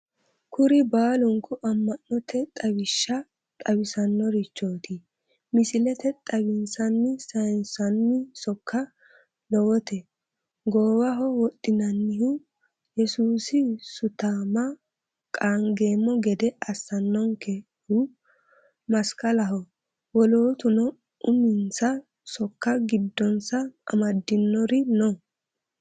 Kuri baalunku ama'note xawishsha xawisanorichoti, misileteni xawinsanni saynsanni sokka lowote, goowaho wodhinanihu yesuusi sutama qaangeemmo gede assanonkehu masikalaho, wolootuno uminsa sokka giddonsa amadinori no.